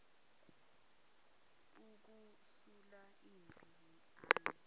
ukusula ipu ani